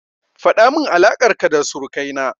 Faɗamin alaƙar ka da surukai na.